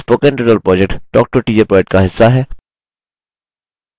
spoken tutorial project talktoateacher project का हिस्सा है